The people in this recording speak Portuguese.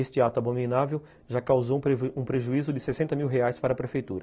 Este ato abominável já causou um prejuízo de sessenta mil reais para a Prefeitura.